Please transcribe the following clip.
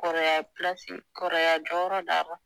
Kɔrɔya pilasi kɔrɔya jɔyɔrɔ d'a ma